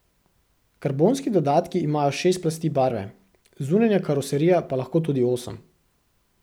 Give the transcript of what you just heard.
Karbonski dodatki imajo šest plasti barve, zunanja karoserija pa lahko tudi osem.